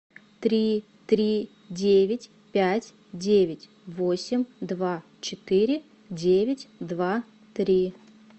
три три девять пять девять восемь два четыре девять два три